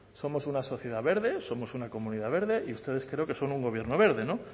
somos una sociedad verde somos una comunidad verde y ustedes creo que son un gobierno verde no